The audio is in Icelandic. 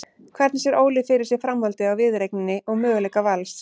Hvernig sér Óli fyrir sér framhaldið á viðureigninni og möguleika Vals?